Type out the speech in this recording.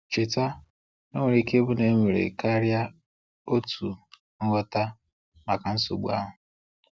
Cheta, o nwere ike ịbụ na e nwere karịa otu ngwọta maka nsogbu ahụ.